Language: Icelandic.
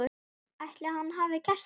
Ætli hann hafi gert það?